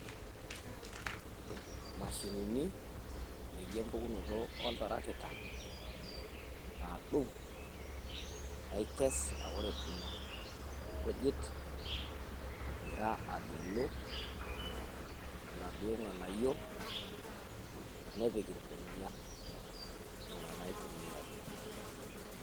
Imashinini naijo empukunoto oltarakita naadung, naikes naa ore edung neikes egira agelu laduo ng`anayio nepik ilbenia nena naitumiayiai.